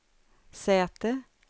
säte